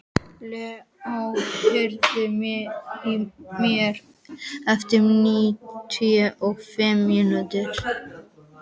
Leo, heyrðu í mér eftir níutíu og fimm mínútur.